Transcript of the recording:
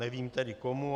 Nevím tedy komu.